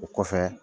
O kɔfɛ